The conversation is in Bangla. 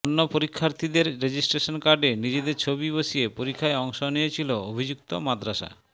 অন্য পরীক্ষার্থীদের রেজিস্ট্রেশন কার্ডে নিজেদের ছবি বসিয়ে পরীক্ষায় অংশ নিয়েছিল অভিযুক্ত মাদ্রাসা